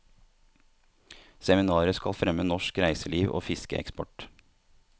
Seminaret skal fremme norsk reiseliv og fiskeeksport.